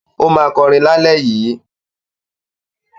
Ó máa kọrin lálẹ́ yìí.